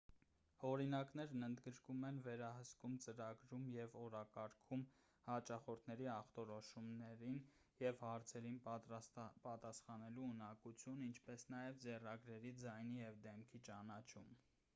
օրինակներն ընդգրկում են վերահսկում ծրագրում և օրակարգում հաճախորդների ախտորոշումներին և հարցերին պատասխանելու ունակություն ինչպես նաև ձեռագրերի ձայնի և դեմքի ճանաչում